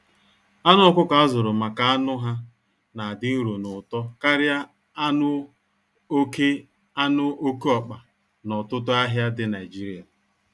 Anụ ọkụkọ azụrụ maka anụ ha na adị nro n'ụtọ karịa anụ oke anụ oke ọkpa na ọtụtụ ahịa dị Naijiria.